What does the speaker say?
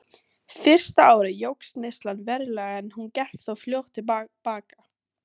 Fyrsta árið jókst neyslan verulega en hún gekk þó fljótt til baka.